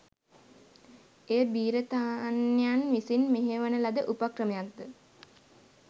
එය බි්‍රතාන්‍යයන් විසින් මෙහෙයවන ලද උපක්‍රමයක්ද